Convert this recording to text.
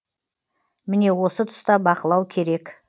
міне осы тұста бақылау керек